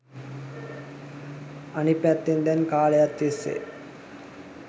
අනිත් පැත්තෙන් දැන් කාලයක් තිස්සේ